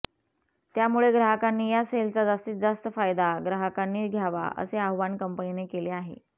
त्यामुळे ग्राहकांनी या सेलचा जास्तीत जास्त फायदा ग्राहकांनी घ्यावा असे आवाहन कंपनीने केले आहे